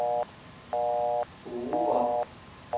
Oura